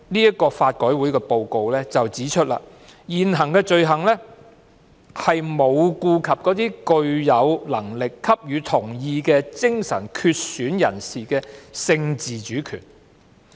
然而，法改會報告書指出，現行法例沒有顧及那些具有能力給予同意的精神缺損人士的性自主權。